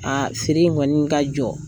A feere in kɔni ka jɔ